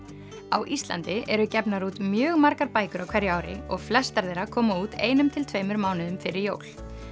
á Íslandi eru gefnar út mjög margar bækur á hverju ári og flestar þeirra koma út einum til tveimur mánuðum fyrir jól